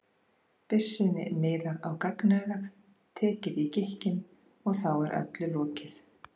byssunni miðað á gagnaugað, tekið í gikkinn, og þá er öllu lokið.